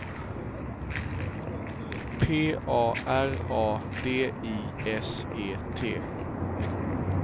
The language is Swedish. P A R A D I S E T